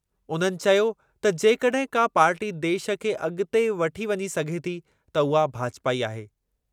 उन्हनि चयो त जेकॾहिं का पार्टी देशु खे अॻिते वठी वञी सघे थी, त उहा भाजपा ई आहे।